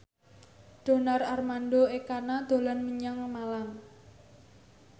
Donar Armando Ekana dolan menyang Malang